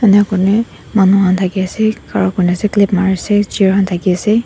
ena koine manu khan thaki ase khara kuri na se clip mari se chair khan thaki ase.